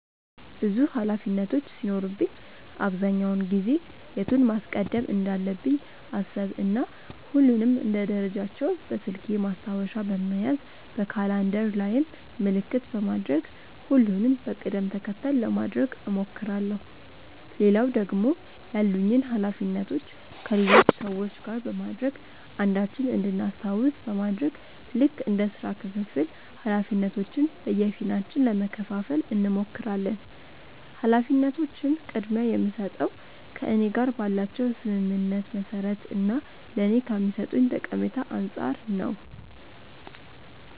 ብዙ ኃላፊነቶች ሲኖሩብኝ አብዛኛውን ጊዜ የቱን ማስቀደም እንዳለብኝ አሰብ እና ሁሉንም እንደ ደረጃቸው በስልኬ ማስታወሻ በመያዝ በካላንደር ላይም ምልክት በማድረግ ሁሉንም በቅድም ተከተል ለማድረግ እሞክራለው። ሌላው ደግሞ ያሉኝን ኃላፊነቶች ከሌሎች ሰዎች ጋር በማድረግ አንዳችን እንድናስታውስ በማድረግ ልክ እንደ ስራ ክፍፍል ኃላፊነቶችን በየፊናችን ለመከፈፋል እንሞክራለን። ኃላፊነቶችን ቅድምያ የምስጠው ከእኔ ጋር ባላቸው ስምምነት መሰረት እና ለኔ ከሚሰጡኝ ጠቀሜታ አንፃር ነው።